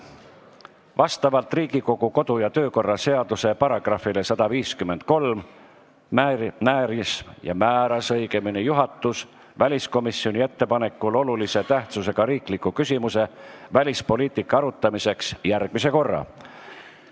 Vastavalt Riigikogu kodu- ja töökorra seaduse §-le 153 määras juhatus väliskomisjoni ettepanekul olulise tähtsusega riikliku küsimuse, välispoliitika arutelu jaoks järgmise korra.